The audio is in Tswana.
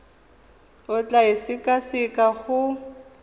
o tla e sekaseka go